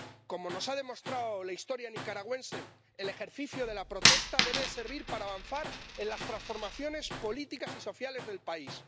Como nos ha demostrado la historia nicaragüense, el ejercicio de la protesta debe servir para avanzar en las transformaciones políticas y sociales del país.